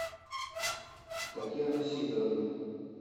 татьяна сидоровна